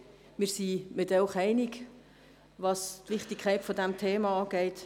Sie sehen, dass wir mit Ihnen darin einig sind, dass dies ein wichtiges Thema ist.